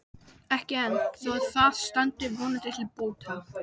Ekki enn, þó það standi vonandi til bóta.